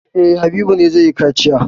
E, Habu ne zai yi kaciya.